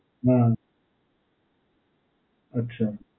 હાં. અચ્છા.